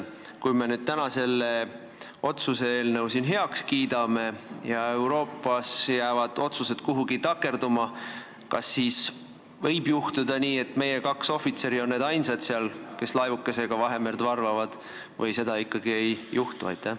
Kui me täna selle otsuse eelnõu siin heaks kiidame, aga Euroopas jäävad otsused kuhugi takerduma, kas siis võib juhtuda nii, et meie kaks ohvitseri on ainsad, kas laevukesega Vahemerd valvavad, või seda ikkagi ei juhtu?